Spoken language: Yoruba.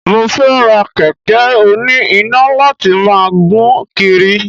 Mo fẹ́ ra kẹ̀kẹ́ oní iná láti máa gùn kiri